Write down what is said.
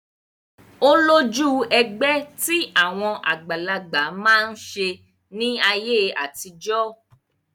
Ó lójú ẹgbẹ́ tí àwọn àgbàlagbà máa ń ṣe ní ayé àtijọ́